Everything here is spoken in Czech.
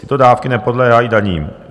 Tyto dávky nepodléhají daním.